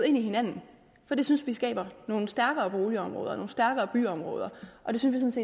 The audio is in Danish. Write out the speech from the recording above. ind i hinanden for det synes vi skaber nogle stærkere boligområder nogle stærkere byområder vi synes